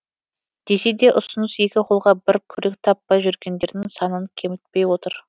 десе де ұсыныс екі қолға бір күрек таппай жүргендердің санын кемітпей отыр